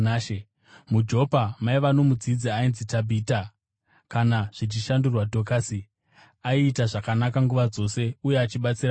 MuJopa maiva nomudzidzi ainzi Tabhita (kana zvichishandurwa, Dhokasi), aiita zvakanaka nguva dzose uye achibatsira varombo.